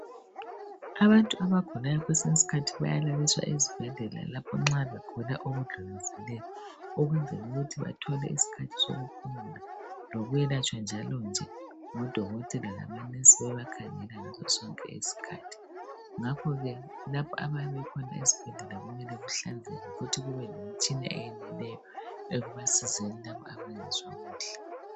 Abantu abagulayo kwesinye isikhathi bayalaliswa esibhedlela lapha nxa begula okudllulisileyo ukwenzela ukuthi bathole isikhathi sokuphumula lokwelatshwa njalo nje ngabo dokotela labo nensi bebakhanyela ngaso sonke iskhathi ngakhoke lapho abakhona esibhedlela kumele kuhlanzeke njalo kube lemitshina yonke